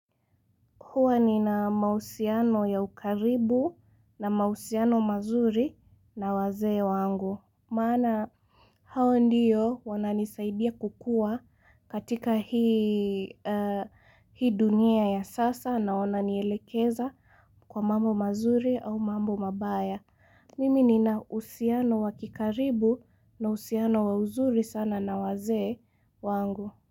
Huwa nina mahusiano ya ukaribu na mahusiano mazuri na wazee wangu. Maana hao ndiyo wananisaidia kukuwa katika hii dunia ya sasa na wananielekeza kwa mambo mazuri au mambo mabaya. Mimi nina uhusiano wa kikaribu na uhusiano wa uzuri sana na wazee wangu.